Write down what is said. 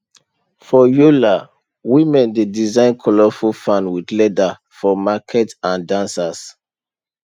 for yola women dey design colourful fan with leather for market and dancers